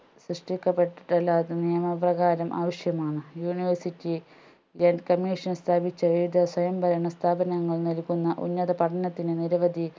സൃഷ്ടിക്കപ്പെട്ടിട്ടുള്ള നിയമപ്രകാരം ആവശ്യമാണ് university grant commission സ്ഥാപിച്ച ഏതു സ്വയംഭരണ സ്ഥാപനങ്ങൾ നൽകുന്ന ഉന്നത പഠനത്തിന് നിരവധി